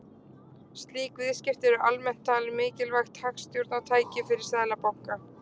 Slík viðskipti eru almennt talin mikilvægt hagstjórnartæki fyrir seðlabanka.